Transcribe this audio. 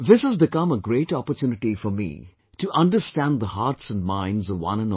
This has become a great opportunity for me to understand the hearts and minds of one and all